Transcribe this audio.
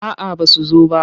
A'aba su zo ba.